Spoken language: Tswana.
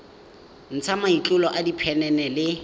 ntsha matlolo a diphenene le